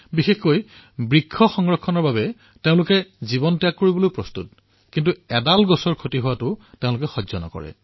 বিশেষকৈ বৃক্ষৰ সংৰক্ষণৰ সন্দৰ্ভত তেওঁলোকে নিজৰ জীৱন পৰিত্যাগ কৰিব কিন্তু এদাল বৃক্ষৰো লোকচান হবলৈ নিদিব